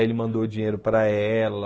Aí ele mandou dinheiro para ela...